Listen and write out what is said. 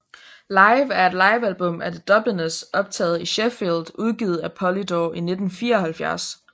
Live er et livealbum af The Dubliners optager i Sheffield udgivet af Polydor i 1974